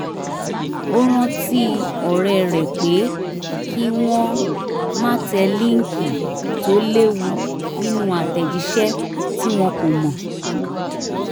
ó rántí ọ̀rẹ́ rẹ pé kí wọ́n má tẹ línkì tó lewu nínú àtẹ̀jísẹ́ tí wọ́n kò mọ